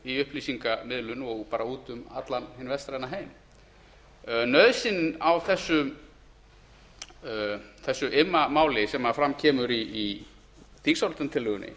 í upplýsingamiðlun og bara út um allan hinn vestræna heim nauðsynin á þessu immamáli sem fram kemur í þingsályktunartillögunni